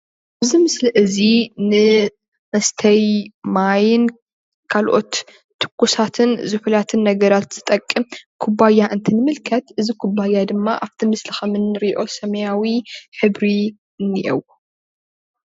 እዚ ምስሊ እዚ ንመስተይ ማይን ካልኦት ቱኩሳትን ዝሕላትን ነገራት ዝጠቅም ኩባያ እንትንምልከት እዚ ኩባያ ድማ ኣብቲ ምስሊ ከም እንሪኦ ሰማያዊ ሕብሪ እኒአዎ፡፡